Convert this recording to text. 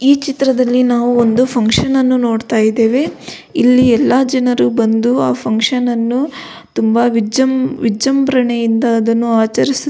ಈ ಚಿತ್ರದಲ್ಲಿ ನಾವು ಒಂದು ಫಂಕ್ಷನ್ ನ್ನು ನೋಡ್ತಾ ಇದ್ದೇವೆ ಇಲ್ಲಿ ಎಲ್ಲ ಜನರು ಬಂದು ಆ ಫಂಕ್ಷನ್ ನ್ನು ತುಂಬಾ ವಿಜ್ ವಿಜೃಂಭಣೆಯಿಂದ ಅದನ್ನು ಆಚರಿಸು --